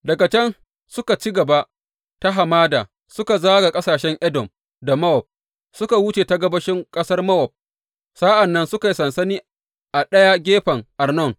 Daga can suka ci gaba ta hamada, suka zaga ƙasashen Edom da Mowab, suka wuce ta gabashin ƙasar Mowab, sa’an nan suka yi sansani a ɗaya gefen Arnon.